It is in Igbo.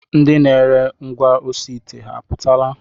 Ndị na-ere ngwaosiite ha apụtala?